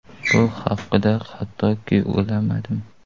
Bu haqda hattoki o‘ylamadim.